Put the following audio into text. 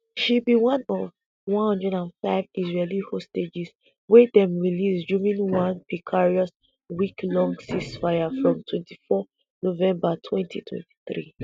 she be one of one hundred and five israeli hostages wy dem release during one precarious week-long ceasefire from twenty-four november twenty-twenty three.